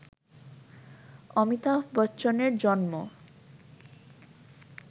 অমিতাভ বচ্চনের জন্ম